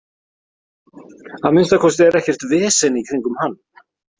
Að minnsta kosti er ekkert vesen í kringum hann.